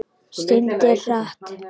Syndir hratt.